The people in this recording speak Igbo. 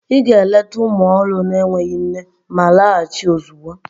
Ị ga-eleta ụmụ ọhụrụ na-enweghị nne ma laghachi ozugbo!